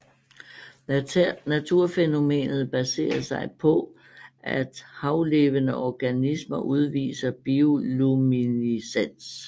Naturfænomenet baserer sig på at havlevende organismer udviser bioluminiscens